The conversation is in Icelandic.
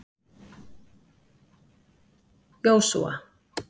Jósúa